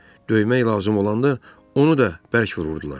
Döymək lazım olanda onu da bərk vururdular.